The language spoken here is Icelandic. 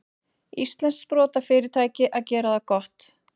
Íslenskt sprotafyrirtæki að gera það gott